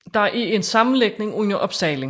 Der er en sammenlægning under opsejling